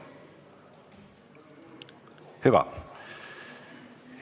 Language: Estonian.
Hüva.